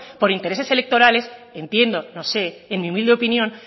por intereses electorales entiendo no sé en mi humilde opinión